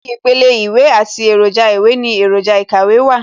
Ibi ìpele Ìwé àti èròjà ìwé ní èròjà ikàwé wà